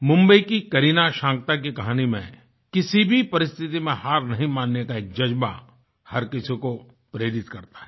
मुंबई की करीना शान्क्ता की कहानी में किसी भी परिस्थिति में हार नहीं मानने का एक जज्बा हर किसी को प्रेरित करता है